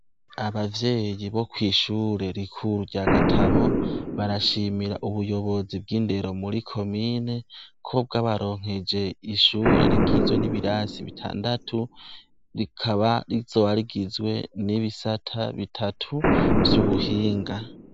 Abavyeyi bo kw'ishure rikuru rya gatabo barashimira ubuyobozi bw'indero muri komine ko bwo abaronkeje ishure rigizwe n'ibirasi bitandatu, rikaba rizobarigizwe n'ibisata bitatu vy'ubuhinga.